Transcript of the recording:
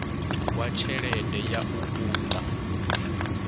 wa tshelede ya u unḓa